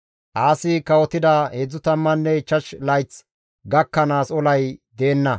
Aasi kawotida 35 layth gakkanaas olay deenna.